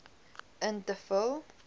in te vul